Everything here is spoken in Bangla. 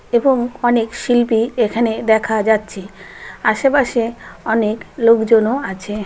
এবং অনেক শিল্পী এখানে দেখা যাচ্ছে । আশেপাশে অনেক লোকজনও আছে ।